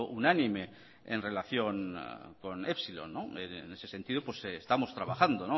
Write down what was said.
unánime en relación con epsilon en ese sentido estamos trabajando